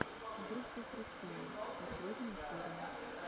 группа фристайл последняя серия